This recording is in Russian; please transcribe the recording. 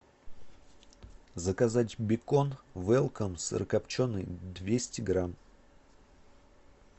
заказать бекон велком сырокопченый двести грамм